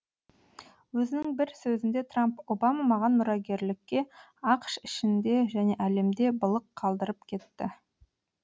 өзінің бір сөзінде трамп обама маған мұрагерлікке ақш ішінде және әлемде былық қалдырып кетті